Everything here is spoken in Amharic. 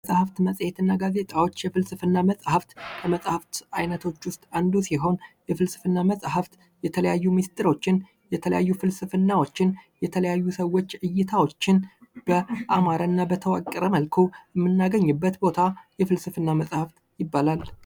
መጽሃፍት መጽሄት እና ጋዜጣዎች የፍልስፍና መጽሃፍት ከመጻህፍት አይነቶች ውስጥ አንዱ ሲሆን የፍልስፍና መጽሐፍ የተለያዩ ሚስጥሮችን የተለያዩ ፍልስፍናዎችን የተለያዩ ሰዎች እይታዎችን በአማረ እና በተዋቀረ መልኩ የምናገኝበት ቦታ የፍልስፍና መጽሀፍ ይባላል።